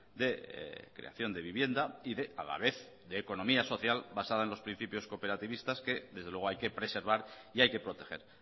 de creación de vivienda y de a la vez de economía social basada en los principios cooperativistas que desde luego hay que preservar y hay que proteger